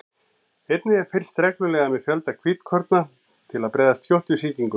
Einnig er fylgst reglulega með fjölda hvítkorna til að bregðast skjótt við sýkingum.